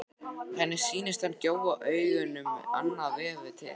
Henni sýnist hann gjóa augunum annað veifið til sín.